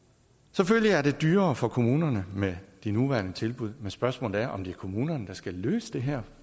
selvfølgelig er det dyrere for kommunerne med de nuværende tilbud men spørgsmålet er om det er kommunerne der skal løse det her